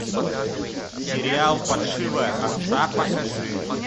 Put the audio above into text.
сериал паршивая овца покажи